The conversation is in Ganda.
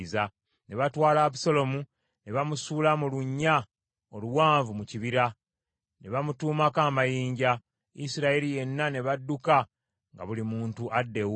Ne batwala Abusaalomu, ne bamusuula mu lunnya oluwanvu mu kibira, ne bamutuumako amayinja. Isirayiri yenna ne badduka nga buli muntu adda ewuwe.